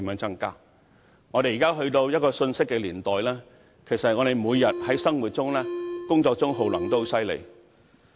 如今，我們已進入一個信息年代，我們每天在生活和工作上的耗能量也很厲害。